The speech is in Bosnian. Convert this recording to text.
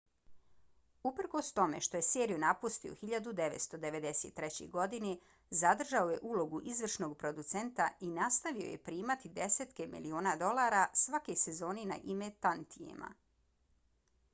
uprkos tome što je seriju napustio 1993. godine zadržao je ulogu izvršnog producenta i nastavio je primati desetke miliona dolara svake sezone na ime tantijema